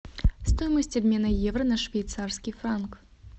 стоимость обмена евро на швейцарский франк